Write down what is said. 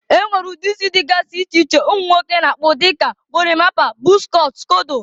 e nwere ụdị isi dịgasị iche iche ụmụ nwoke na-akpụ dịka: gorimapa, bọz cọt, skodo, dgz.